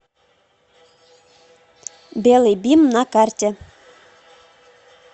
белый бим на карте